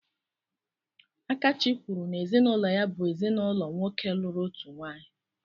Akachi kwuru n'ezinụlọ ya bụ ezinaụlọ nwoke lụrụ otu nwaanyị.